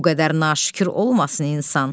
Bu qədər naşükür olmasın insan.